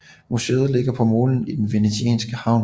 Muséet ligger på molen i den venetianske havn